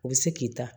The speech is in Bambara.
U bɛ se k'i ta